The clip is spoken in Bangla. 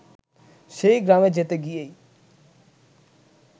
সেই গ্রামে যেতে গিয়েই